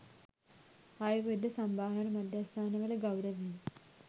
ආයුර්වේද සම්බාහන මධ්‍යස්ථානවල ගෞරවය